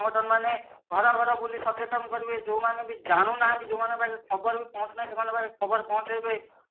ସଂଗଠନ ମାନେ ଘର ଘର ବୁଲି ସଚେତନ କରିବେ ଯୋଉମାନେ ବି ଜାଣୁ ନାହାନ୍ତି ଯୋଉମାନ ଙ୍କ ପାଖେ ଖବର ବି ପହଞ୍ଚୁ ନାହି ସେମାନଙ୍କ ପାଖେ ଖବର ପହଞ୍ଚାଇବେ